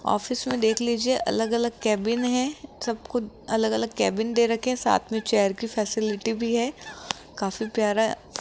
office में देख लीजिए अलग अलग केबिन है सबको अलग अलग केबिन दे रखे हैं साथ में चेयर की फैसिलिटी भी है काफी प्यारा --